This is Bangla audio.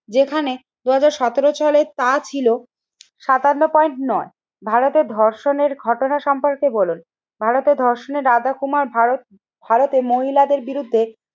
যেখানে দুই হাজার সতেরো সালের তা ছিল সাতান্ন পয়েন্ট নয়। ভারতের ধর্ষণের ঘটনা সম্পর্কে বলুন, ভারতের ধর্ষণের কুমার ভারত ভারতে মহিলাদের বিরুদ্ধে